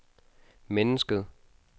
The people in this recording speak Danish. mennesket